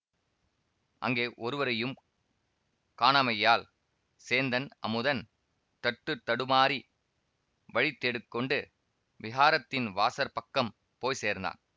அங்கே ஒருவரையும் காணாமையால் சேந்தன் அமுதன் தட்டுத்தடுமாறி வழி தேடி கொண்டு விஹாரத்தின் வாசற்பக்கம் போய் சேர்ந்தான்